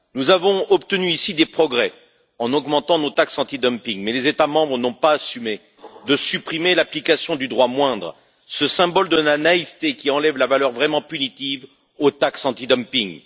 Sur ce point, nous avons obtenu des progrès en augmentant nos taxes antidumping, mais les États membres n'ont pas assumé de supprimer l'application du droit moindre, ce symbole de la naïveté qui enlève la valeur vraiment punitive aux taxes antidumping.